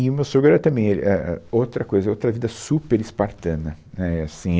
E o meu sogro era também, ele é é outra coisa, outra vida super espartana. Né, assim